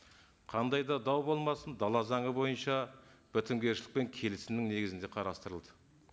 қандай да дау болмасын дала заңы бойынша бітімгершілік пен келісімнің негізінде қарастырылды